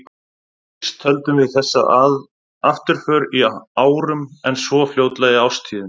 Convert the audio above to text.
Fyrst töldum við þessa afturför í árum, en svo fljótlega í árstíðum.